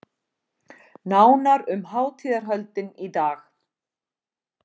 Nánar um hátíðarhöldin í dag